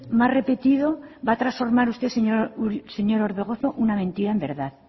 más repetido va a transformar usted señor orbegozo una mentira en verdad